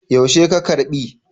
Yaushe ka karɓi?